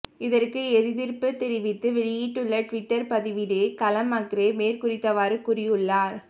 இதற்கு எதிர்ப்பு தெரிவித்து வெளியிட்டுள்ள டுவிட்டர் பதிவிலேயே கலம் மக்ரே மேற்குறித்தவாறு கூறியுள்ளார்